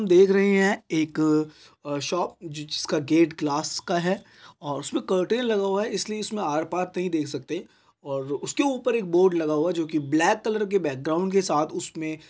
हम देख रहे है एक आ शॉप जि जिसका गेट ग्लास का है और उसमे कर्टन लगा हुआ है इसलिए इसमे आर पार नही देख सकते और उसके ऊपर एक बोर्ड लगा हुआ है जो की ब्लैक कलर के बैकग्राउंड के साथ उसमें--